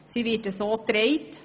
Sie wird unterstützt.